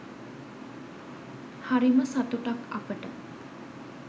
හරිම සතුටක් අපට